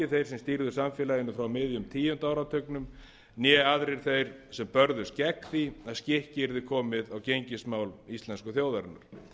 þeir sem stýrðu samfélaginu frá miðjum tíunda áratugnum né aðrir þeir sem börðust gegn því að skikki yrði komið á gengismál íslensku þjóðarinnar